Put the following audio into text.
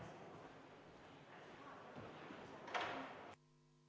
V a h e a e g Lugupeetud Riigikogu, juhtivkomisjon on teinud ettepaneku viia läbi eelnõu 399 lõpphääletus.